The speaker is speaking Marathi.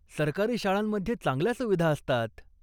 सरकारी शाळांमध्ये चांगल्या सुविधा असतात.